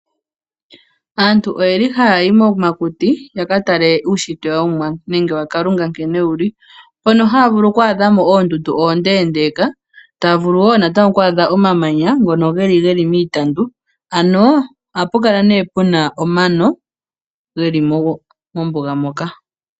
Aantu oye li ha ya yi momakuti ya katale uunshitwe yoOmuwa nenge waKalunga nkene wu li. Mpono ha ya vulu oku adha oondundu oondeendeka ta vulu wo natango omamanya ngono ge li ge li miitandu. Ano oha pu kala ne puna omano ge li mombuga moka.